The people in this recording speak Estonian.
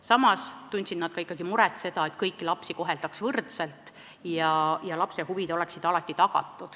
Samas tundsid nad ikkagi muret, et kõiki lapsi koheldaks võrdselt ja lapse huvid oleksid alati tagatud.